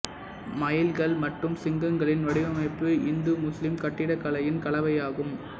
மயில்கள் மற்றும் சிங்கங்களின் வடிவமைப்பு இந்துமுஸ்லீம் கட்டிடக் கலையின் கலவையாகும்